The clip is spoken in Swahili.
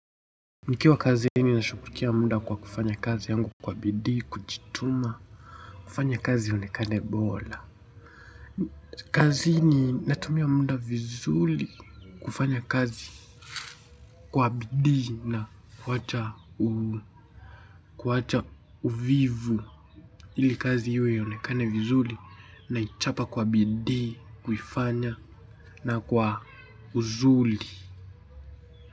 Nikiwa kazini nashuglikia muda kwa kufanya kazi yangu kwa bidii, kujituma, kufanya kazi ionekane bora. Kazini natumia muda vizuli kufanya kazi kwa bidii na kuacha uvivu. Ili kazi iwe ionekane vizuli naichapa kwa bidii, kuifanya na kwa uzuli.